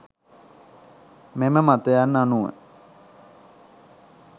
මෙම මතයන් අනුව